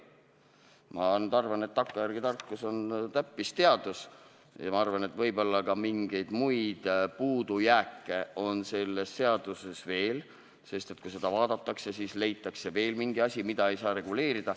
Ma arvan, et tagantjärele tarkus on täppisteadus, ja ma arvan, et mingisuguseid puudujääke on selles seaduses võib-olla veel, sest kui seda vaadatakse, siis leitakse veel mingi asi, mida ei saa reguleerida.